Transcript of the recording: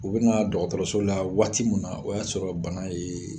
U bɛna dɔgɔtɔrɔso la waati min na o y'a sɔrɔ bana yee